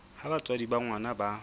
ha batswadi ba ngwana ba